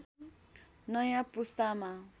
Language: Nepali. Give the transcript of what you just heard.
नयाँ पुस्तामा